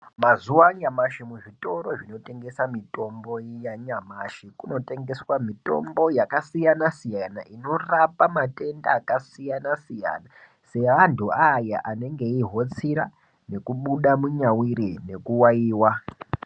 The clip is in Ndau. Mazuwa anyamashi muzvitoro zvinotengesa mitombo yanyamashi, kunotengeswa mitombo yakasiyana-siyana , inorapa matenda akasiyana-siyana, seantu aaya anenge eihotsira, nekubuda munyawiri nekuwayiwa.